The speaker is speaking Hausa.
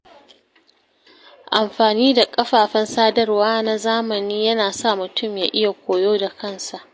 Amfani da kafafen sadarwa na zamani yana sa mutum ya iya koyo da kansa.